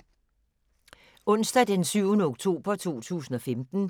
Onsdag d. 7. oktober 2015